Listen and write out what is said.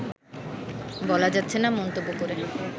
বলা যাচ্ছেনা মন্তব্য করে